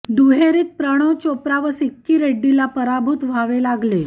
दुहेरीत प्रणव चोप्रा व सिक्की रेड्डीला पराभूत व्हावे लागले